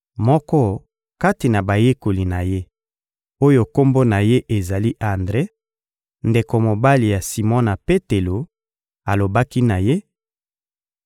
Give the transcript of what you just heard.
Moko kati na bayekoli na Ye, oyo kombo na ye ezali Andre, ndeko mobali ya Simona Petelo, alobaki na Ye: